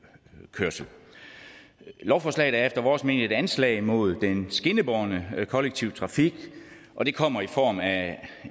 kørsel lovforslaget er efter vores mening et anslag mod den skinnebårne kollektive trafik og det kommer i form af